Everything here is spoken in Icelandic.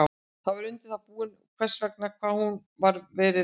Ég var undir það búinn, vegna þess hvað hún hafði verið veik.